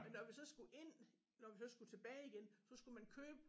Men når vi så skulle ind når vi så skulle tilbage igen så skulle man købe